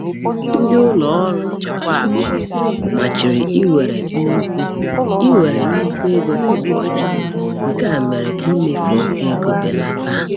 Ndị ụlọ ọrụ nchekwa akụ machiri iwere nnukwu iwere nnukwu ego kwa ụbọchị, nke a mere ka imefu oke ego belata